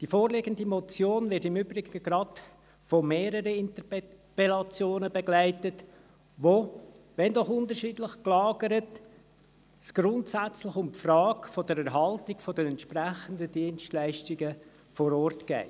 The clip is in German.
Die vorliegende Motion wird im Übrigen gerade von mehreren Interpellationen begleitet, die sich – wenn auch unterschiedlich gelagert – grundsätzlich um die Frage der Erhaltung der entsprechenden Dienstleistungen vor Ort drehen.